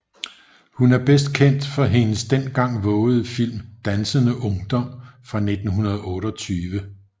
Hun er bedst kendt for hendes dengang vovede film Dansende Ungdom fra 1928